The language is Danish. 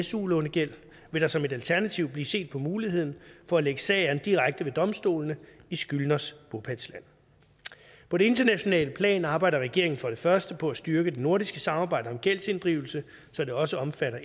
su lånegæld vil der som et alternativ blive set på muligheden for at lægge sag an direkte ved domstolene i skyldners bopælsland på det internationale plan arbejder regeringen for det første på at styrke det nordiske samarbejde om gældsinddrivelse så det også omfatter